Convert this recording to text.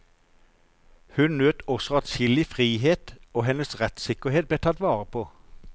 Hun nøt også adskillig frihet, og hennes rettssikkerhet ble tatt vare på.